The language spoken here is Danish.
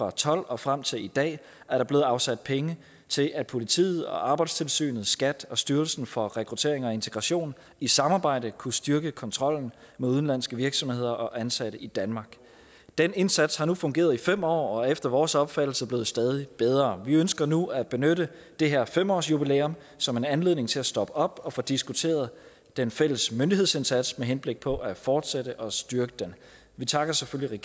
og tolv og frem til i dag er der blevet afsat penge til at politiet arbejdstilsynet skat og styrelsen for international rekruttering og integration i samarbejde kunne styrke kontrollen med udenlandske virksomheder og ansatte i danmark den indsats har nu fungeret i fem år og er efter vores opfattelse blevet stadig bedre vi ønsker nu at benytte det her fem årsjubilæum som en anledning til at stoppe op og få diskuteret den fælles myndighedsindsats med henblik på at fortsætte og styrke den vi takker selvfølgelig